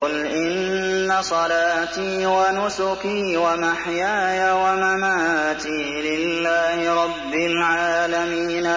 قُلْ إِنَّ صَلَاتِي وَنُسُكِي وَمَحْيَايَ وَمَمَاتِي لِلَّهِ رَبِّ الْعَالَمِينَ